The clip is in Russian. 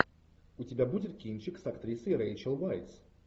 у тебя будет кинчик с актрисой рейчел вайс